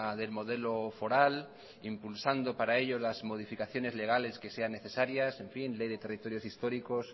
del modelo foral impulsando para ello las modificaciones legales que sean necesarias ley de territorios históricos